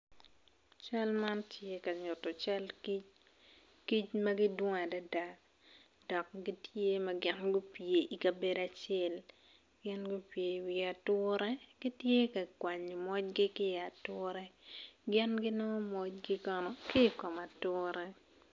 Cal man tye ka nyutu cal kic, kic ma gidwong adada dok gin weng tye ma gupye ikabedo acel gin gupye i wi ature gitye ka kwanyo mojgi ki i ature gin ginongo mojgi kono ki kom ature